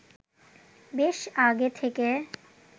বেশ আগে থেকে